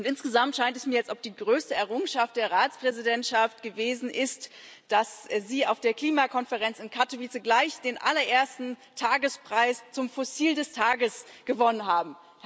Insgesamt scheint es mir, als ob die größte Errungenschaft der Ratspräsidentschaft gewesen ist, dass Sie auf der Klimakonferenz in Katowice gleich den allerersten Tagespreis als Fossil des Tages gewonnen haben.